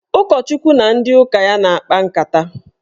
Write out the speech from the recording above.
Ụkọchukwu na ndị ụka ya na-akpa nkata.